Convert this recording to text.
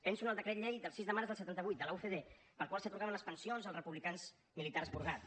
penso en el decret llei del sis de març del setanta vuit de la ucd pel qual s’atorgaven les pensions als republicans militars purgats